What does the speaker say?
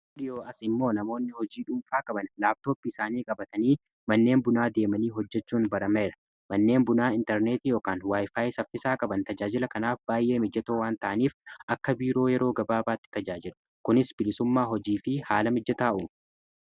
dhiyoo as immoo namoonni hojii dhuunfaa qaban laabtoopii isaanii qabatanii manneen bunaa deemanii hojjechuun barameera manneen bunaa intarneeti yookan waayifaayi saffisaa qaban tajaajila kanaaf baay'ee mijjatoo waan ta'aniif akka biiroo yeroo gabaabaatti tajaajilu kunis bilisummaa hojii fi haala mijjataa ummu.